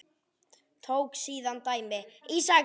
Tók síðan dæmi: